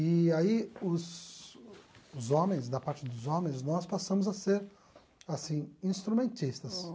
E aí, os os homens, da parte dos homens, nós passamos a ser, assim, instrumentistas.